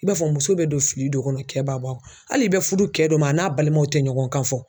I b'a fɔ muso bɛ don fili dɔ kɔnɔ kɛ b'a bɔ a kɔnɔ hali i bɛ fudu kɛ dɔ ma a n'a balimaw tɛ ɲɔgɔn kan fɔ.